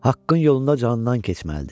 Haqqın yolunda canından keçməlidir.